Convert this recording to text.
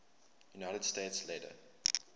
united states later